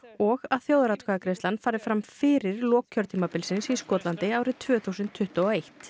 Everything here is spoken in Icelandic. og að þjóðaratkvæðagreiðslan fari fram fyrir lok kjörtímabilsins í Skotlandi árið tvö þúsund tuttugu og eitt